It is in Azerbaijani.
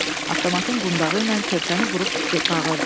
Avtomatın qundağı ilə körpəni vurub bağırdı.